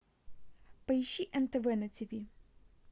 поищи нтв на тв